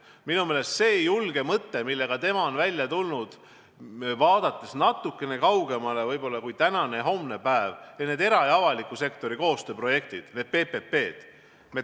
Minu meelest on see julge mõte, millega ta välja on tulnud, vaadates võib-olla natuke kaugemale kui tänane ja homne päev, et teha era- ja avaliku sektori koostööprojekte, PPP-sid.